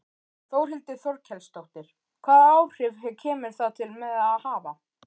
Þórhildur Þorkelsdóttir: Hvaða áhrif kemur það til með að hafa?